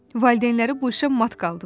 Valideynləri bu işə mat qaldılar.